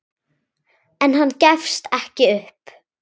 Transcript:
En hann gefst ekki upp.